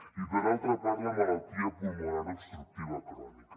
i per altra part la malaltia pulmonar obstructiva crònica